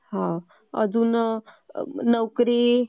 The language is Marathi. अजून नोकरी